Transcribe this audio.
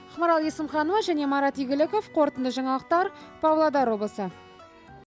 ақмарал есімханова және марат игіліков қорытынды жаңалықтар павлодар облысы